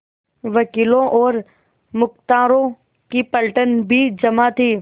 वकीलों और मुख्तारों की पलटन भी जमा थी